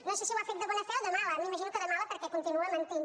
no sé si ho ha fet de bona fe o de mala m’imagino que de mala perquè continua mentint